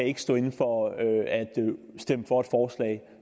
ikke stå inde for at stemme for et forslag